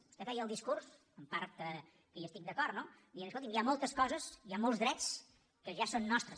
vostè feia el discurs que en part hi estic d’acord no dient escolti hi ha moltes coses hi ha molts drets que ja són nostres